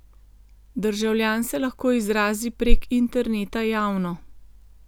Državljan se lahko izrazi prek interneta javno.